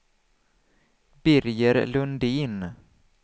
Birger Lundin